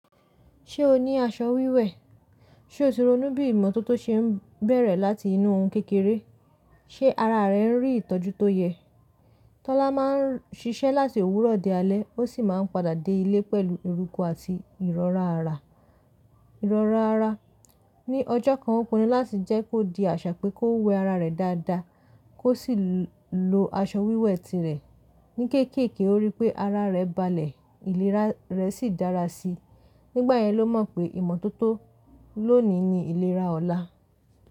Ṣé o ní aṣọ wíwẹ̀? Ṣé o ti ronú bí ìmọ́tótó ṣe ń bẹ̀rẹ̀ láti inú ohun kékeré? Ṣé ara rẹ ń rí ìtọ́jú tó yẹ? Tọ́lá máa ń ṣiṣẹ́ láti òwúrọ̀ d alẹ́, ó sì máa ń padà dé ilé pẹ̀lú eruku àti ìrọ́ra ara. Ìrọ́ra ara. Ni ọjọ́ kan, ó pinnu láti jẹ́ kó di àṣà pé kó wẹ ara rẹ̀ dáadáa, kó sì lo aṣọ wíwẹ̀ tirẹ̀. Ni kéékèèké, ó rí pé ara rẹ̀ balẹ̀, ìlera rẹ̀ sì dára síi. Nígbà yẹn ló mọ̀ pé ìmọ́tótó lónìí ni ìlera ọ̀la.